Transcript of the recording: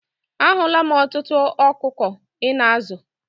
A hụla m ọtụtụ ọkụkọ Ị na-azụ.